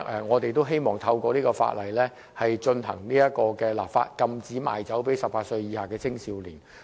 我們希望透過條例草案的立法，禁止賣酒給18以下青少年。